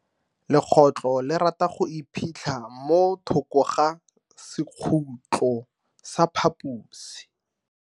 Legotlo le rata go iphitlha mo thoko ga sekhutlo sa phaposi.